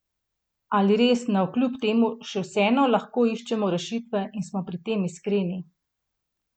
Ali res navkljub temu še vseeno lahko iščemo rešitve in smo pri tem iskreni?